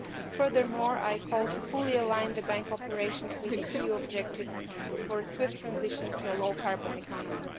Furthermore, I call for full alignment of the Bank's operations with the EU objectives for a swift transition to a low carbon economy.